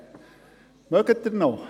Mögen Sie noch?